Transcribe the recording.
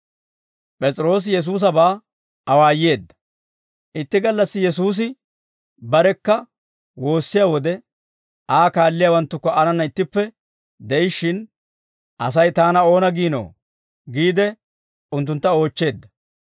Itti gallassi Yesuusi barekka woossiyaa wode, Aa kaalliyaawanttukka aanana ittippe de'ishshin, «Asay taana oona giinoo?» giide unttuntta oochcheedda.